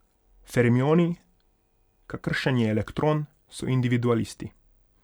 Fermioni, kakršen je elektron, so individualisti.